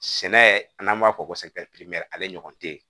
Sɛnɛ n'an b'a fɔ ko ale ɲɔgɔn te ye